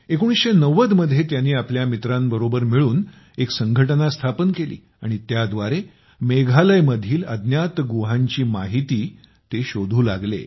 1990 मध्ये तो त्यांनी आपल्या मित्रांसोबत मिळून एक संघटना स्थापन केली आणि त्याद्वारे मेघालयमधील अज्ञात गुहांची माहिती शोधू लागले